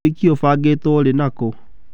Ũhiki ũbangĩtũo rĩ na kũ?